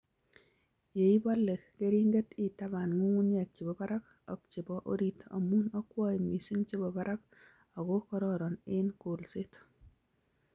Yeibole keringet itabaan nyung'unyek chebo barak ak chebo orit amu akwoen missing chebo barak ako kororon eng kolset